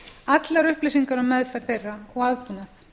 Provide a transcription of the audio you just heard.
allar upplýsingar um meðferð þeirra og aðbúnað